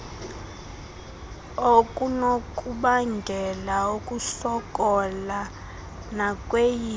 okunokubangela ukusokola nakweyiphi